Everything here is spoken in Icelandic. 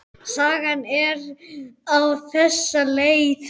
Sagan er á þessa leið